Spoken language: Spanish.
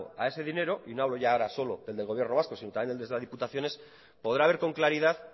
a ese dinero y no hablo ahora solo de del gobierno vasco sino también el de las diputaciones podrá ver con claridad